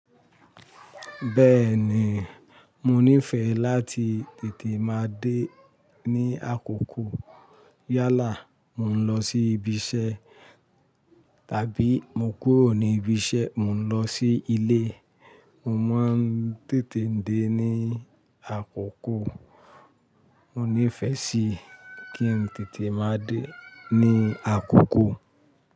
Bẹ́ẹ̀ ni, mo nífẹ̀ẹ́ láti tètè máa dé ní àkókò. Yálà, mò ń lọ sí ibi iṣẹ́, tàbí mo kúrò ní ibi iṣẹ́, mò ń lọ sí ilé, mo máa ń tètè dé ní àkókò. Mo nífẹ̀ẹ́ sí kí n tètè máa dé ní àkókò.